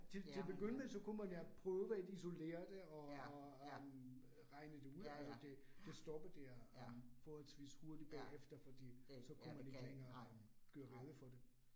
Til til begynde med, så kunne man jo prøve at isolere det og og øh regne det ud. Altså det det stoppede der øh forholdsvis hurtigt bagefter, fordi så kunne man ikke længere gøre rede for det